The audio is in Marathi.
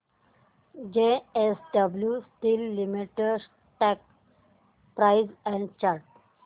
JSW steel limited stock price and chart